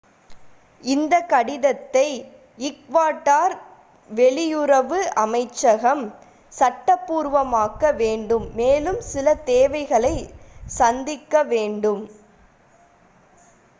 இந்தக் கடிதத்தை ஈக்வடார் வெளியுறவு அமைச்சரகம் சட்டபூர்வமாக்க வேண்டும் மேலும் சில தேவைகளை சந்திக்க வேண்டும்